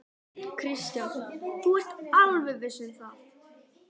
Kristján: Þú ert alveg viss um það?